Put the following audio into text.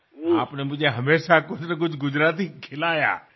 আপনি আমাকে কোনো না কোনো গুজরাটি খাবার খাইয়েছেন